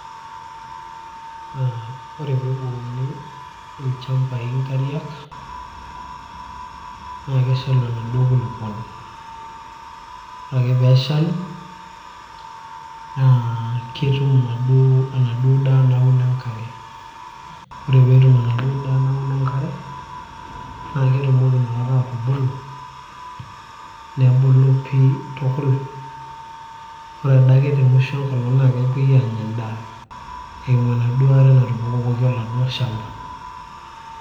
aa ore peebukokini ilchambai inkariak naa keshalu enaduo kulupuoni ore ake peeshalu naa ketum enaduo daa nauno enkare ore peetum enaduo daa nauno enkare naa ketumoki inakata atubulu nebulu pii tukul ore adake te musho enkolong naa kepuoi aanya endaa eimu enaduo aare natubukokoki oladuo shamba